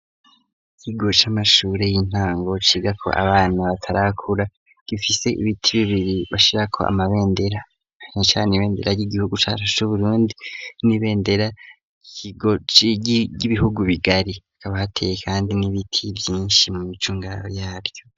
Ikigo c'amashure y'intango cigako abantu batarakura gifise ibiti bibiri bashirako amabendera eka n'ibendera ry'igihugu cacu c'Uburundi n'ibendera ry'ibihugu bibanyi hakaba hateye kandi n'ibiti vyinshi mu micungararo